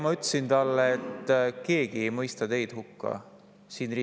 Ma ütlesin talle, et keegi Riigikogu saalis ei mõista teid hukka, kindlasti mitte.